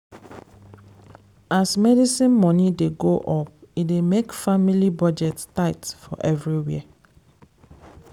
as medicine money dey go up e dey make family budget tight for everywhere.